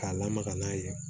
K'a lamaga n'a ye